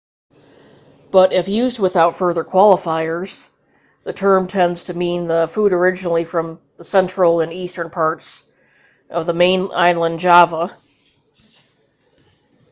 but if used without further qualifiers the term tends to mean the food originally from the central and eastern parts of the main island java